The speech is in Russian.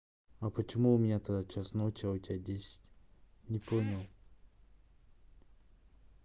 а почему тогда у меня час ночи а у тебя десять не понял